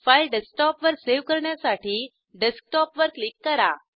file डेस्कटॉपवर save करण्यासाठी desktop वर क्लिक करा